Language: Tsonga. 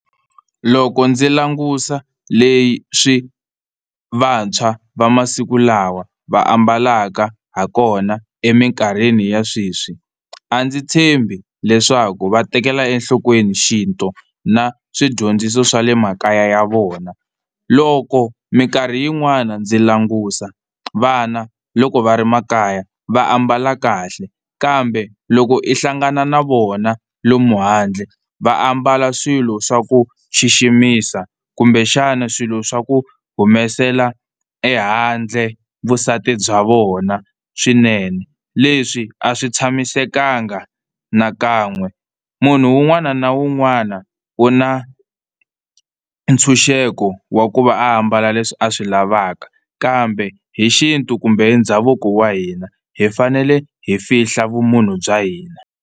Loko ndzi langusa leswi vantshwa va masiku lawa va ambalaka ha kona eminkarhini ya sweswi, a ndzi tshembi leswaku va tekela enhlokweni xintu na swidyondziso swa le makaya ya vona. Loko mikarhi yin'wani ndzi langusa vana loko va ri makaya va ambala kahle kambe loko i hlangana na vona lomu handle va ambala swilo swa ku xiximisa kumbexana swilo swa ku humesela ehandle vusati bya vona swinene. Leswi a swi tshamisekanga nakan'we munhu un'wana na un'wana u na ntshunxeko wa ku va ambala leswi a swi lavaka kambe hi xintu kumbe ndhavuko wa hina hi fanele hi fihla vumunhu bya hina.